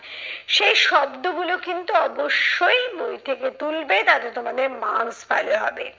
সেই শব্দ গুলো কিন্তু অবশ্যই বই থেকে তুলবে তাতে তোমাদের marks ভালো হবে।